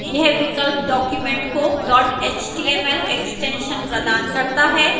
यह विकल्प document को dot html extension प्रदान करता है